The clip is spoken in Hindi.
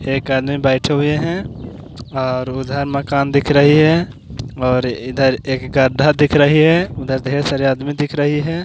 एक आदमी बैठे हुए है और उधर मकान दिख रही है और इधर एक गढ्ढा दिख रही है उधर ढेर सारे आदमी दिख रही है।